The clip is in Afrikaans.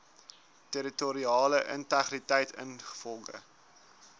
territoriale integriteit ingevolge